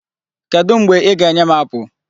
Kedụ mgbe ị ga-enye m apple?